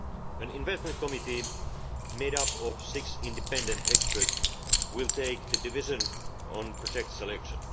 An investment committee made up of six independent experts will take the decisions on project selection.